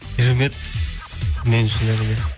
керемет мен үшін әрине